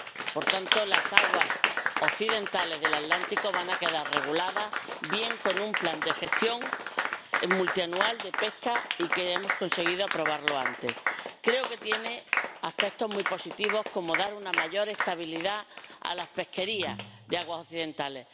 Por tanto, las aguas occidentales del Atlántico van a quedar bien reguladas con un plan de gestión multianual de pesca y, además, hemos conseguido aprobarlo a tiempo. Creo que tiene aspectos muy positivos, como dar una mayor estabilidad a las pesquerías de aguas occidentales.